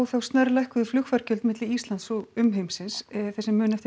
snarlækkuðu flugfargjöld milli Íslands og umheimsins þeir sem muna eftir